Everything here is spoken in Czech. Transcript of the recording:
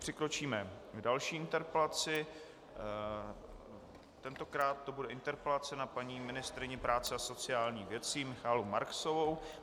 Přikročíme k další interpelaci, tentokrát to bude interpelace na paní ministryni práce a sociálních věcí Michaelu Marksovou.